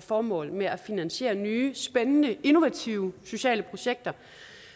formål med at finansiere nye spændende innovative sociale projekter